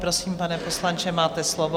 Prosím, pane poslanče, máte slovo.